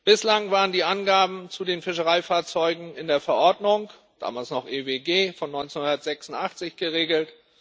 Bislang waren die Angaben zu den Fischereifahrzeugen in der Verordnung damals noch EWG von 1986 geregelt.